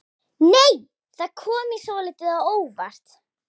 Nei! Það kom mér svolítið á óvart!